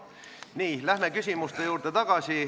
Läheme tagasi küsimuste juurde.